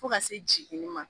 Fo ka se jiginni ma